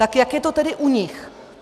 Tak jak je to tedy u nich?